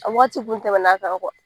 A wagati kun tɛmɛna a kan